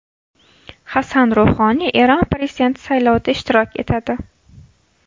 Hasan Ruhoniy Eron prezidenti saylovida ishtirok etadi.